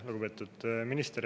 Lugupeetud minister!